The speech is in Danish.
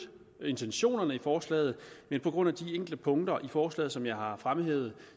intentionerne i forslaget men på grund af de enkelte punkter i forslaget som jeg har fremhævet